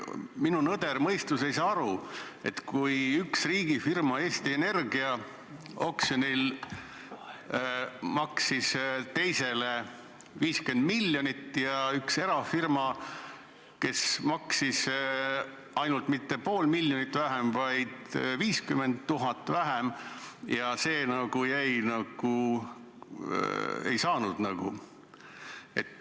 Minu nõder mõistus ei saa aru, et üks riigifirma ehk Eesti Energia maksis oksjonil teisele 50 miljonit ja üks erafirma, kes maksis mitte pool miljonit vähem, vaid ainult 50 000 vähem, jäi nagu kõrvale.